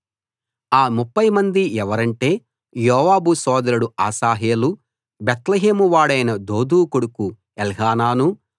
ఆ ముప్ఫై మంది ఎవరంటే యోవాబు సోదరుడు అశాహేలు బేత్లెహేము వాడైన దోదో కొడుకు ఎల్హానాను